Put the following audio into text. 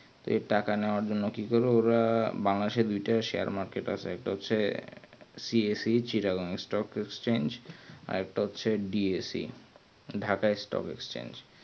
তো টাকা নেওয়ার জন্যে কি করবে ওরা আহ বাংলাদেশ এর দুইটা share market আছে CSCciccagon stock আরেকটা হচ্ছে DSCDhaka stock change